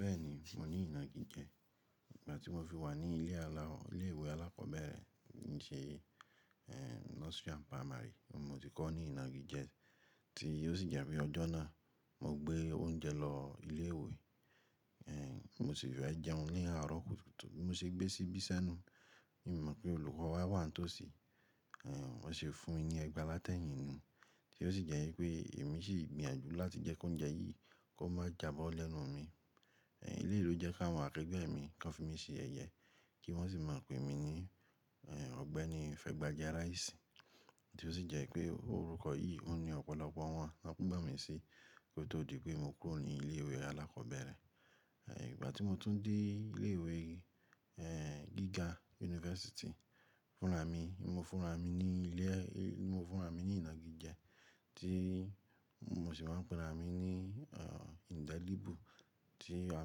Bẹ́ẹ̀ni, mo ní ìnàgìjẹ. Ìgbà tí mo fi wà ní ilé àla, ilé ìwé alákọ̀ọ́bẹ̀rẹ̀ tí n ṣé, eh, nursery and primary, ni mo ti kọ́ ní ìnàgìjẹ. Tí ó sì jẹ́ pé ọjọ́ náà mo gbé oúnjẹ lọ ilé ìwé, eh, mo sì fẹ jẹun ní àárọ̀ kùtùkùtù, bi mo se gbé síbi sẹ́nu. Mi i mọ̀ pé olùkọ́ wa wà n tó sì, eh, bon se fún mi ní ẹgba lá tẹ́yìn nu. Tí ó sì jẹ́ wípé èmi sì gbìyànjú láti jẹ́ kí oúnjẹ yìí kó má jábọ́ lẹ́nu mi. Eléyìí ló jẹ́ kàwọn akẹgbẹ́ mi kan fi mí ṣe yẹyẹ kí wọ́n sì máa pè mí ní, eh, Ọ̀gbẹ́ni Fẹ́gbáje Ráísì. Tí ó sì jẹ́ pé orúkọ yìí ouń ní ọ̀pọ̀lọpọ̀ wọn. Wọ́n mọ̀ mí sí kó tó di pé mo kúrò ní ilé ìwé alákọ̀ọ́bẹ̀rẹ̀. Eh, ìgbà tí mo tún dé ilé ìwé, eh, gíga yunifásítì fúnra mi, mo fúnra mi ní ilé, mo fúnra mi ní ìnàgìjẹ tí mo sì máa pèra mi ní, eh, Indelible tí a,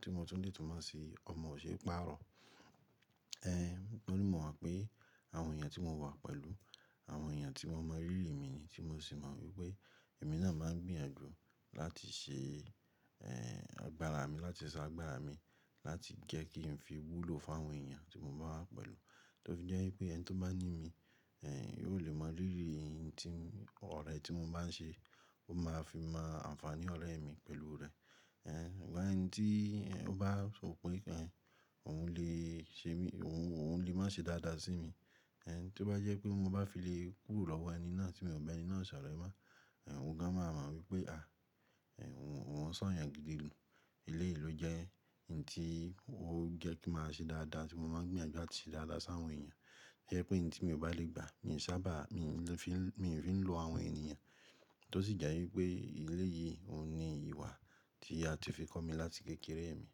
tí mo tún lè túnmọ̀ ṣi ọmọ o ṣe é pàá rọ̀. Eh, torí mọ̀ mo pé àwọn èèyàn tí mo wà pẹ̀lú, àwọn èèyàn tí wọ́n mọ rírì mi ni tí mo sì mọ wípé èmi náà máa ń gbìyànjú láti ṣe, eh, agbára mi láti ṣọ́ agbára mi láti jẹ́ kí n fi wúlò fún àwọn èèyàn tí mo bá wà pẹ̀lú. Tó fi jẹ́ wípé ẹni tó bá ní mi, eh, yóò lè mọ rírì hin tí ọ̀rẹ́ tí mo bá ń ṣe, ó máa fi mọ àǹfààní ọ̀rẹ́ mi pẹ̀lú rẹ̀. Eh, ṣùgbọ́n ẹni tí ó bá sọ pé, eh, òun lè ṣe mí, òun lè má ṣe dáadáa sí mi. Eh, tí ó bá jẹ́ pé mo bá fi lè kúrò lọ́wọ́ ẹni náà tí mi o bé ẹni náà ṣoore mọ́, eh, óun gan máa mọ wípé, à, eh, òun ṣọ́ èèyàn gidi nù. Eléyìí ló jẹ́ ǹ tí ó jẹ́ kí máa ṣe dáadáa tí mo máa ń gbìyànjú áti ṣe dáadáa sí àwọn èèyàn. Jẹ́ pé ǹ tí mi ò bá lè gbà, mi ò sábà, mi fi n, mi fi ń lo àwọn ènìyàn. Tí ó sì jẹ́ wípé eléyìí òun ni ìwà tí a ti fi kọ́ mi láti kékeré mi.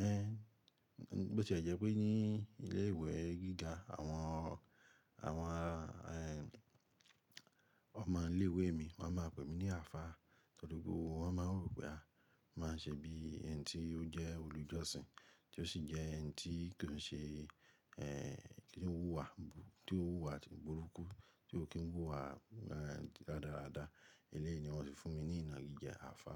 Eh, bó tí e jẹ́ pé ní ilé ìwé gíga àwọn, àwọn, eh, ọmọ ilé ìwé mi wọ́n máa pè mí ní àfá torí gbogbo wọ́n máa rò pé, à, mo máa ń ṣe bí ẹ̀ni tí ó jẹ́ olùjọ́sìn tí ó sì jẹ́ ẹ̀ni tí kò n ṣe, eh, kí n wúwa bú tí ó wúwa burúkú tí ò kí ń wúwa, eh, radáradá. Eléyìí ni wọ́n ti fún mi ní ìnàgìjẹ àfá.